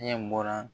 Ɲɛ bɔra